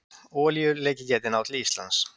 Olíuleki gæti náð til Íslands